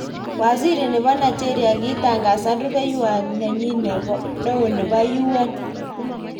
Waziri nebo Nigeria kitangasan rubewayat nenyi neo nebo UN.